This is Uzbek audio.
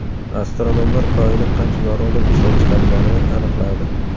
Astronomlar Koinot qancha yorug‘lik ishlab chiqarganini aniqladi.